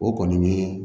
O kɔni ye